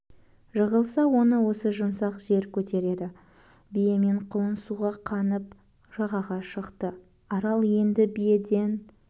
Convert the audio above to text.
жығылса оны осы жұмсақ жер көтереді бие мен құлын суға қанып жағаға шықты арал енді биеден